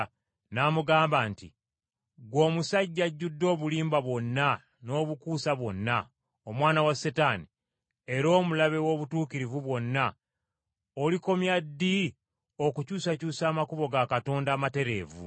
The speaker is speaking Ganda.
n’amugamba nti, “Ggwe, omusajja ajudde obulimba bwonna n’obukuusa bwonna, omwana wa Setaani, era omulabe w’obutuukirivu bwonna olikomya ddi okukyusakyusa amakubo ga Katonda amatereevu?